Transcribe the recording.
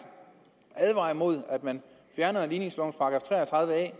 advarer imod at man fjerner ligningslovens § tre og tredive a